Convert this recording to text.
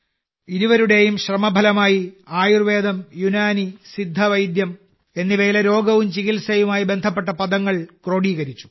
ഇരുവരുടെയും ശ്രമഫലമായി ആയുർവേദം യുനാനി സിദ്ധ വൈദ്യം എന്നിവയിലെ രോഗവും ചികിത്സയുമായി ബന്ധപ്പെട്ട പദങ്ങൾ ക്രോഡീകരിച്ചു